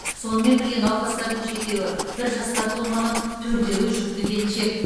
сонымен бірге науқастардың жетеуі бір жасқа толмаған төртеуі жүкті келіншек